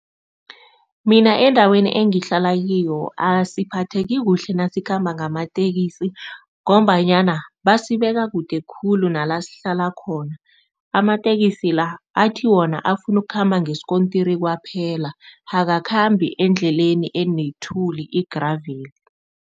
Mina endaweni engihlala kiyo asiphatheki kuhle nasikhamba ngamateksi ngombanyana basibeka kude khulu nala sihlala khona. Amateksi la athi, wona afuna ukukhamba ngesikontiri kwaphela, akakhambi endleleni enethuli igraveli.